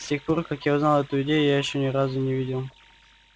с тех пор как я узнал эту идею я ещё ни разу не видел